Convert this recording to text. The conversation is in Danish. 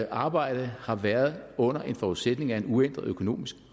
arbejde har været under forudsætning af en uændret økonomisk